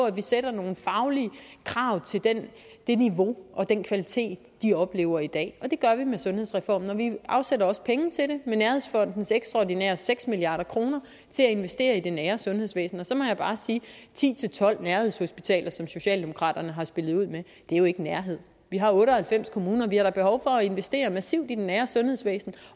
at vi stiller nogle faglige krav til det niveau og den kvalitet de oplever i dag og det gør vi med sundhedsreformen vi afsætter også penge til det med nærhedsfondens ekstraordinære seks milliard kroner til at investere i det nære sundhedsvæsen og så må jeg bare sige ti til tolv nærhedshospitaler som socialdemokraterne har spillet ud med er jo ikke nærhed vi har otte og halvfems kommuner og vi har da behov for at investere massivt i det nære sundhedsvæsen